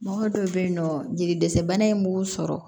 Mɔgɔ dɔw bɛ yen nɔ jeli dɛsɛ bana in b'u sɔrɔ